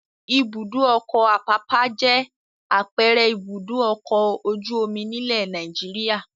Ibùdó-ọkọ̀ Àpápá jẹ́ àpẹẹrẹ Ibùdó-ọkọ̀ ojú-omi nílẹ̀ Nàìjíríà.